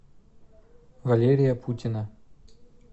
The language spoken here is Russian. валерия путина